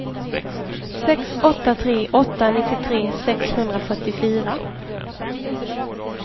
sex åtta tre åtta nittiotre sexhundrafyrtiofyra